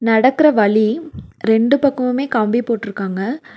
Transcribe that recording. நடக்கற வழி ரெண்டு பக்கமுமே கம்பி போட்ருக்காங்க.